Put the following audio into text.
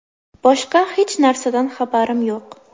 Boshqa hech narsadan xabarim yo‘q.